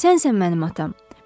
Sənsən mənim atam.